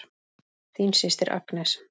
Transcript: Þín systir Agnes.